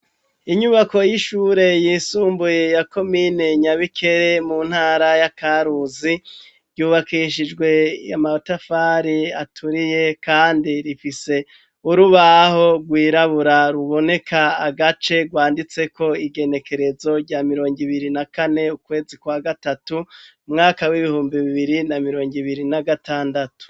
Inyubako y'ishure yisumbuye yakomine nyabikere mu ntara y'akaruzi ryubakishijwe yamatafari aturiye, kandi rifise urubaho rwirabura ruboneka agace rwanditseko igenekerezo rya mirongo ibiri na kane ukwezi kwa gatatu umwaka w'ibihumbi bibiri na mirongo ibiri na gatandatu.